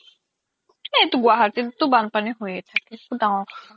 গুৱাহাতিত তো বান্পানি হৈয়ে থাকে একো দাঙৰ কথা নহয়